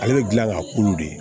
Ale bɛ dilan k'a kulu de ye